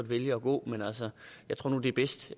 vælge at gå men jeg tror nu det er bedst